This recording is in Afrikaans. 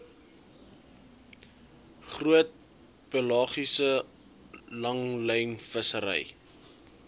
groot pelagiese langlynvissery